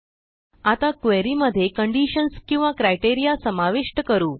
आता क्वेरी मध्ये कंडिशन्स किंवा क्रायटेरिया समाविष्ट करू